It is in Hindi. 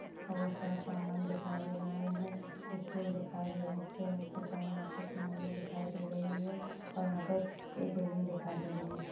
बहुत सारा सामान दिखाई दे रहा है स्टूल दिखाई दे रहा है चेअर दिखाई यहा पर एक महिला दिखाई दे रही है और यहा पर बिल्डिंग दिखाई दे रही है।